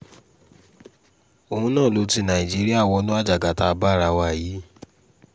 òun náà ló ti nàìjíríà wọnú àjàgà tá a bá ara wa yìí